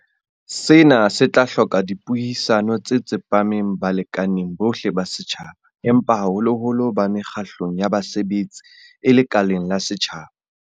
Sena se tla hloka dipuisano tse tsepameng balekaneng bohle ba setjhaba, empa haholoholo ba mekgatlong ya basebetsi e lekaleng la setjhaba.